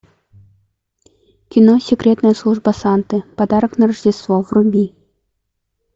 кино секретная служба санты подарок на рождество вруби